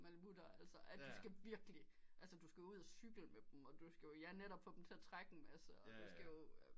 Og Malamuter altså at de skal virkelig altså du skal ud og cykle med dem og du skal jo ja netop få dem til at trække en masse og du skal jo